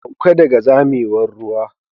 Sauka daga zamewar ruwa.